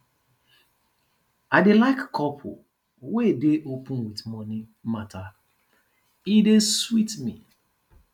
i dey like couple wey dey open wit moni mata e dey sweet me